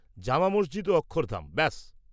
-জামা মসজিদ ও অক্ষরধাম, ব্যাস।